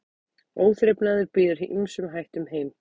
Óþrifnaður býður ýmsum hættum heim.